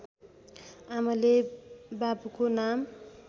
आमाले बाबुको नाम